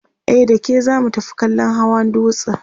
e dake zamu tafi kallan masu Hawa dutsen